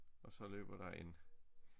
Og så løber der en